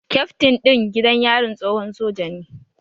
Kyaftin ɗin gidan yarin tsohon soja ne